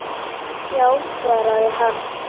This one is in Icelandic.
Já, svaraði hann.